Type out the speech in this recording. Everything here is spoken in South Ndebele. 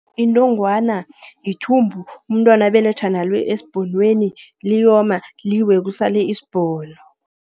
Inongwana, yithumbu umntwana abelethwa nalo esbhonweni liyoma, liwe kusale isbhono.